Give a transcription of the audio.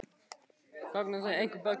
Gangan er einhver besti kostur sem völ er á.